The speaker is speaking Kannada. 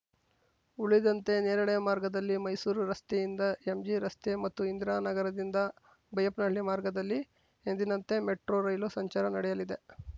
ಉಳಿದಂತೆ ನೇರಳೆ ಮಾರ್ಗದಲ್ಲಿ ಮೈಸೂರು ರಸ್ತೆಯಿಂದ ಎಂಜಿರಸ್ತೆ ಮತ್ತು ಇಂದಿರಾನಗರದಿಂದ ಬೈಯಪ್ಪನಹಳ್ಳಿ ಮಾರ್ಗದಲ್ಲಿ ಎಂದಿನಂತೆ ಮೆಟ್ರೋ ರೈಲು ಸಂಚಾರ ನಡೆಯಲಿದೆ